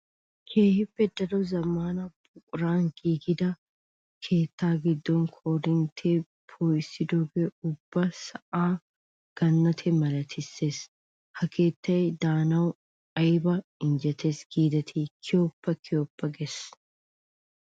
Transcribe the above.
Keehippe daro zamaana buquran giigidda keetta gidon koorinttiya poo'issidooge ubba sa'a ganattiya malatees. Ha keettay daanawu aybba injjetees giideti kiyoppa kiyoppa gissees.